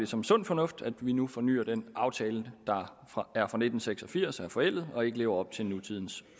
som sund fornuft at vi nu fornyer den aftale der er fra nitten seks og firs som er forældet og ikke lever op til nutidens